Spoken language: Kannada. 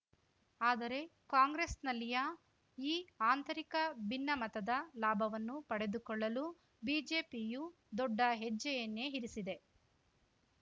ಆದರೆ ಕಾಂಗ್ರೆಸ್‌ನಲ್ಲಿಯ ಈ ಆಂತರಿಕ ಭಿನ್ನಮತದ ಲಾಭವನ್ನು ಪಡೆದುಕೊಳ್ಳಲು ಬಿಜೆಪಿಯೂ ದೊಡ್ಡ ಹೆಜ್ಜೆಯನ್ನೇ ಇರಿಸಿದೆ